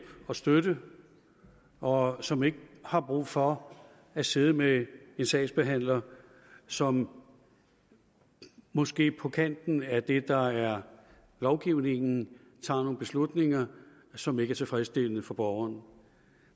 og støtte og som ikke har brug for at sidde med en sagsbehandler som måske på kanten af det der er lovgivningen tager nogle beslutninger som ikke er tilfredsstillende for borgeren